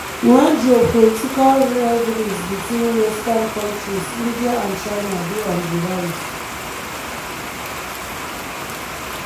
wen geopolitical rivalries between western countries india and china dey on di rise.